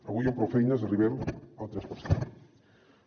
avui amb prou feines arribem al tres per cent